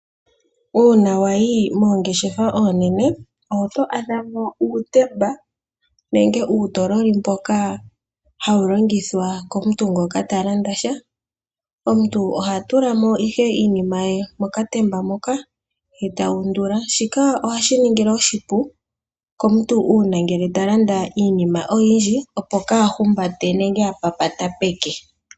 Uuna wayi moongeshefa oonene omo to adha ano uutemba nenge uutololi mboka hawu longithwa komuntu ngoka talanda sha . Omuntu oha tula mo ihe iinima ye mokatemba moka eta undula shika ohashi ningi oshipu komuntu uuna ngele talanda iinima oyindji opo kaahumbate nenge apapate peke.